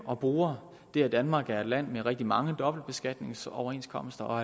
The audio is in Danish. og bruger det at danmark er et land med rigtig mange dobbeltbeskatningsoverenskomster og